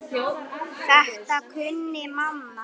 Þetta kunni mamma.